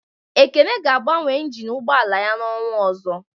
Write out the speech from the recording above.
Ekene ga agbanwe ịnginu ụgbọala yá n'ọnwa ọzọ